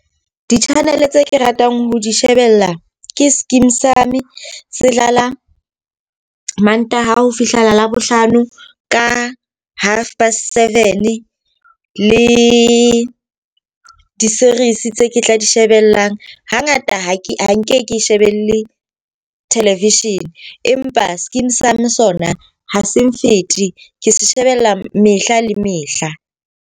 Di-channel tse ke ratang ho di shebella ke Skeem Saam, se dlala Mantaha ho fihlela Labohlano ka half past seven. Le di-series tse ke tla di shebellang. Ha ngata ha nke ke shebelle television empa Skeem Saam sona ha se nfete, ke se shebella mehla le mehla.